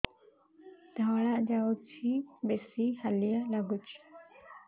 ଧଳା ଯାଉଛି ବେଶି ହାଲିଆ ଲାଗୁଚି